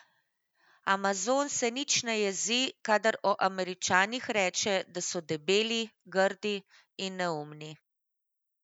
Amazon se nič ne jezi, kadar o Američanih reče, da so debeli, grdi in neumni.